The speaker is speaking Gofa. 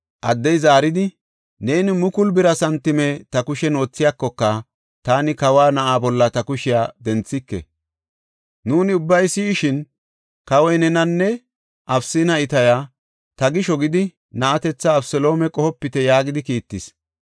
Addey zaaridi, “Neeni mukulu bira santime ta kushen wothiyakoka taani kawa na7aa bolla ta kushiya denthike! Nuuni ubbay si7ishin, kawoy nena, Abisanne Itaya, ‘Ta gisho gidi, na7atetha Abeseloome qohopite’ yaagidi kiittis.